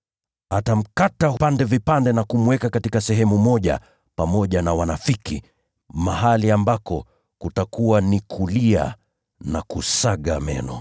Atamkata vipande vipande na kumweka katika sehemu moja pamoja na wanafiki, mahali ambako kutakuwa ni kulia na kusaga meno.